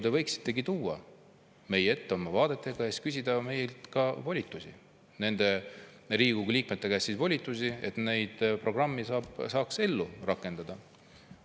Te võiksite tuua koalitsioonilepingu oma vaadetega meie ette ja küsida meie, Riigikogu liikmete käest volitust, et programmi saaks ellu rakendada.